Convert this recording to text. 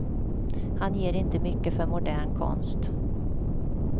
Han ger inte mycket för modern konst.